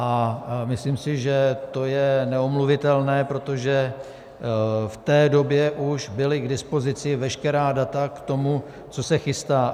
A myslím si, že to je neomluvitelné, protože v té době už byla k dispozici veškerá data k tomu, co se chystá.